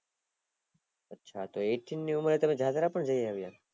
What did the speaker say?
અચ્છા એઇટી ની ઉમર એ તમે જાત્રા ણ જાય આવ્યા